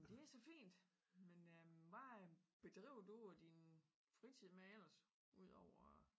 Det så fint men øh hvad bedriver du din fritid med ellers udover